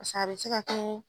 Paseke a be se ka kɛ.